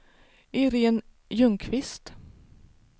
Irene Ljungqvist